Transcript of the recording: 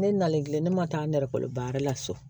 Ne nalen kilen ne ma taa ne nɛgɛ la so